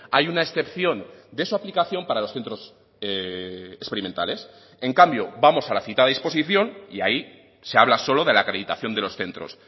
hay una excepción de su aplicación para los centros experimentales en cambio vamos a la citada disposición y ahí se habla solo de la acreditación de los centros